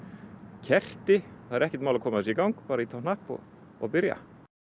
kerti það er ekkert mál að koma þessu í gang bara ýta á hnapp og og byrja